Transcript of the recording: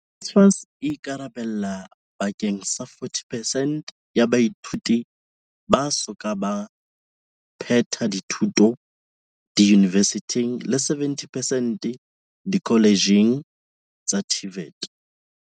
NSFAS e ikarabella bake ng sa 40 percent ya baithuti ba so ka ba phethela dithuto diyunivesithing le 70 percent dikoletjheng tsa TVET.